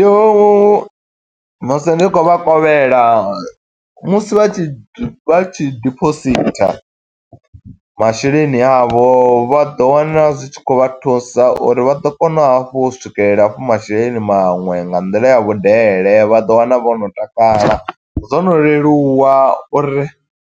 Yo musi ndi khou vha kovhela, musi vha tshi, vha tshi dipositha masheleni a vho, vha ḓo wana zwi tshi khou vha thusa uri vha ḓo kona hafhu u swikelela hafhu masheleni maṅwe, nga nḓila ya vhudele. Vha ḓo wana vho no takala, zwo no leluwa uri